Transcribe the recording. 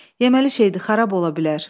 Yeməli şeydi, xarab ola bilər.